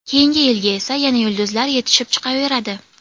Keyinga yilga esa yana yulduzlar yetishib chiqaveradi.